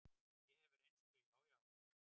Ég hef reynslu, já, já.